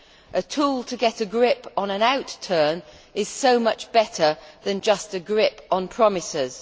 A tool to get a grip on an outturn is so much better than just a grip on promises.